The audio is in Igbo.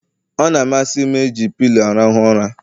Ọ na-amasị m eji pilo m arahụ ụra